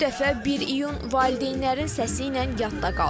Bu dəfə 1 iyun valideynlərin səsiylə yadda qaldı.